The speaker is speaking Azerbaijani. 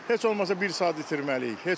Heç olmasa bir saat itirməliyik.